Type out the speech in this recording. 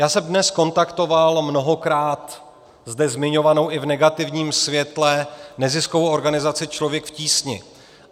Já jsem dnes kontaktoval mnohokrát zde zmiňovanou i v negativním světle neziskovou organizaci Člověk v tísni.